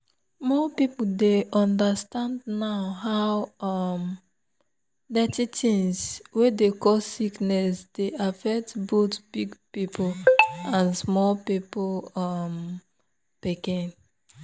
more people dey understand now how um dirty things wey dey cause sickness dey affect both big people and small um pikin.